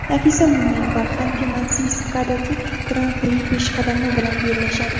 Nafisa Mo‘minova Xanti-Mansiyskdagi Gran-Pri peshqadami bilan bellashadi.